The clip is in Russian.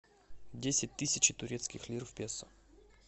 десять тысяч турецких лир в песо